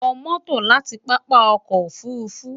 wo moto lati papa oko ofurufu